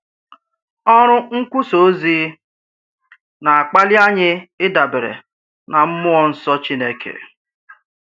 Ọrụ nkwusà ozi na-akpali anyị ịdabere n’Mmụọ Nsọ Chineke.